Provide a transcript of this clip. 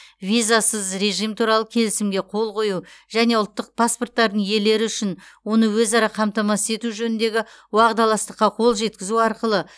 визасыз режим туралы келісімге қол қою және ұлттық паспорттардың иелері үшін оны өзара қамтамасыз ету жөніндегі уағдаластыққа қол жеткізу арқылы